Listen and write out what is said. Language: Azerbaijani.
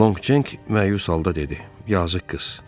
Lonqcenk məyus halda dedi: Yazıq qız.